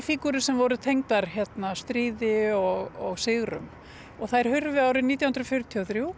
fígúrur sem voru tengdar stríði og sigrum þær hurfu árið nítján hundruð fjörutíu og þrjú